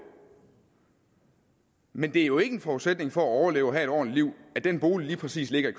men det er jo ikke en forudsætning for at overleve og have et ordentligt liv at den bolig lige præcis ligger i